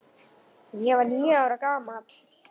Ég var níu ára gamall.